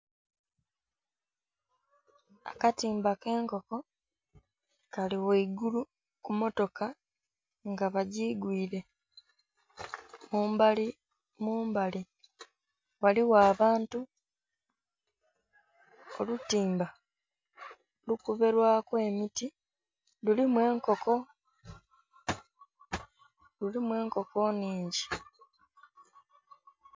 Akatimba ke enkoko kali ghaigulu ku motoka nga bagiigwire, mumbali ghaligho abantu olutimba lukube lwaku emiti kuliku enkoko, lulimu enkoko nnhingi.